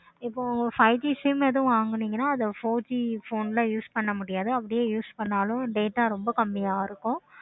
இப்போ five G phones இந்த மாதிரி வாங்குனீங்கனா இப்போ four G phones க்கு use பண்ண முடியாது. data ரொம்ப கம்மியா இருக்கும்.